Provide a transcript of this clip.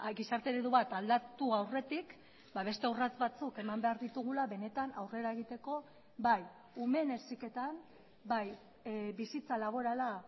gizarte eredu bat aldatu aurretik beste urrats batzuk eman behar ditugula benetan aurrera egiteko bai umeen heziketan bai bizitza laborala